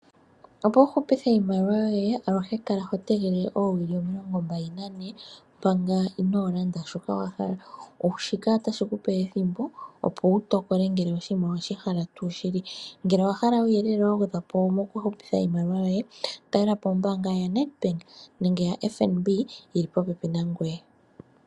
Opo wu hupithe iimaliwa yoye aluhe kala ho tegele oowili omilongo mbali nane manga ino landa shoka wa hala shika otashi kupe ethimbo opo wu tokole ngele oshinima oweshi hala tuu shili nongele owa hala uuyelele wa gwedhwa po mokuhupitha iimaliwa yoye talelapo ombaanga ya FNB yili popepi na ngoye.